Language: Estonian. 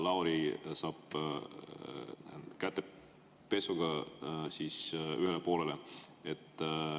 Siis Lauri saab kätepesuga ühele poole.